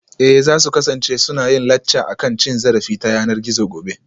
Eh za su kasance suna yin lacca akan cin zarafi ta yanar gizo gobe